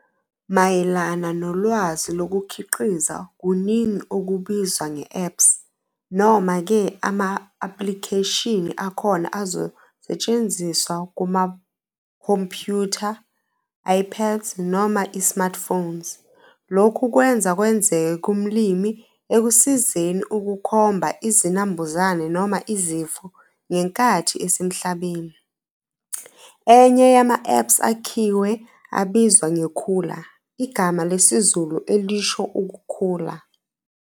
Mayelana nolwazi lokukhiqiza kuningi okubizwa nge-apps noma ke ama-aplikheshini akhona azosetshenziswa kumakhompyutha, iPads noma i-smartphones. Lokhu kwenza kwenzeke kumlimi ekusizeni ukukhomba izinambuzane noma izifo ngenkathi esemhlabeni. Enye yama-apps akhiwe abizwa ngeKhula, igama lesiZulu elisho ukukhula.